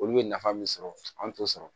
Olu bɛ nafa min sɔrɔ an t'o sɔrɔ